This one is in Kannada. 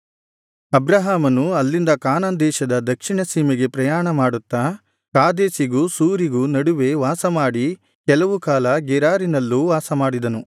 ಅಬ್ರಹಾಮನು ಅಲ್ಲಿಂದ ಕಾನಾನ್ ದೇಶದ ದಕ್ಷಿಣ ಸೀಮೆಗೆ ಪ್ರಯಾಣ ಮಾಡುತ್ತಾ ಕಾದೇಶಿಗೂ ಶೂರಿಗೂ ನಡುವೆ ವಾಸ ಮಾಡಿ ಕೆಲವು ಕಾಲ ಗೆರಾರಿನಲ್ಲೂ ವಾಸಮಾಡಿದನು